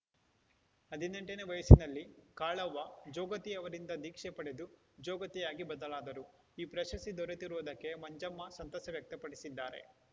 ಹದಿನೆಂಟನೇ ವಯಸ್ಸಿನಲ್ಲಿ ಕಾಳ್ಳವ್ವ ಜೋಗತಿ ಅವರಿಂದ ಧೀಕ್ಷೆ ಪಡೆದು ಜೋಗತಿಯಾಗಿ ಬದಲಾದರು ಈ ಪ್ರಶಸ್ತಿ ದೊರೆತಿರುವುದಕ್ಕೆ ಮಂಜಮ್ಮ ಸಂತಸ ವ್ಯಕ್ತಪಡಿಸಿದ್ದಾರೆ